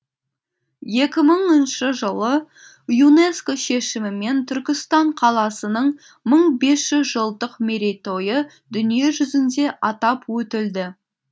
екі мыңыншы жылы юнеско шешімімен түркістан қаласының мың бес жүз жылдық мерейтойы дүние жүзінде атап өтілді